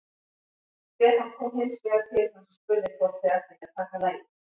Stefán kom hins vegar til hans og spurði hvort þeir ættu ekki að taka lagið.